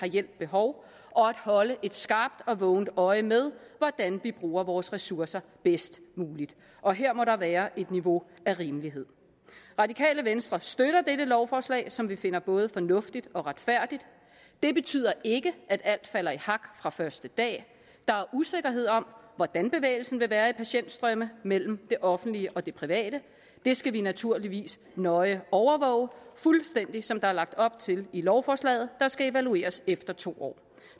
hjælp behov og at holde et skarpt og vågent øje med hvordan vi bruger vores ressourcer bedst muligt og her må der være et niveau af rimelighed radikale venstre støtter dette lovforslag som vi finder både fornuftigt og retfærdigt det betyder ikke at alt falder i hak fra første dag der er usikkerhed om hvordan bevægelsen vil være i patientstrømme mellem det offentlige og det private det skal vi naturligvis nøje overvåge fuldstændig som der er lagt op til i lovforslaget der skal evalueres efter to år